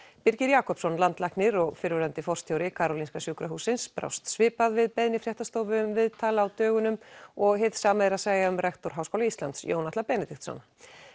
Birgir Jakobsson landlæknir og fyrrverandi forstjóri Karolinska sjúkrahússins brást svipað við beiðni fréttastofu um viðtal á dögunum og hið sama er að segja um rektor Háskóla Íslands Jón Atla Benediktsson